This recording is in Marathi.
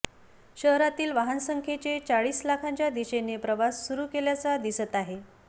शहरातील वाहनसंख्येचे चाळीस लाखांच्या दिशेने प्रवास सुरु केल्याचा दिसत आहे